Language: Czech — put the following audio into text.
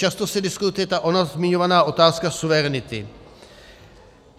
Často se diskutuje ta ona zmiňovaná otázka suverenity.